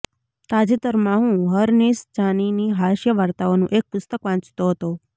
તાજેતરમાં હું હરનિશ જાનીની હાસ્ય વાર્તાઓનું એક પુસ્તક વાંચતો હતો